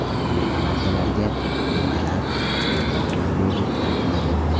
Bu tamaddilarga, mevalar, yong‘oq va yogurtlar kiradi.